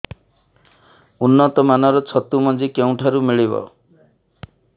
ଉନ୍ନତ ମାନର ଛତୁ ମଞ୍ଜି କେଉଁ ଠାରୁ ମିଳିବ